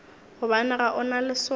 gobane ga o na leswao